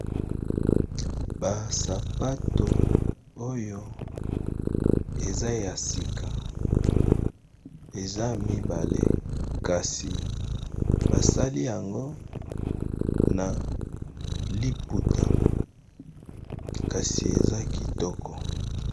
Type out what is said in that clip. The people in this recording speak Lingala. Ba sapato oyo eza ya sika ,eza mibale kasi basali yango na liputa, kasi eza kitoko.